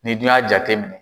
Ni dun y'a jate mɛnɛ.